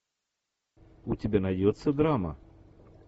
у тебя найдется драма